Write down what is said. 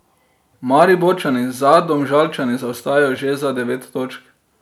Mariborčani za Domžalčani zaostajajo že za devet točk.